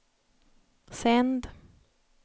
sänd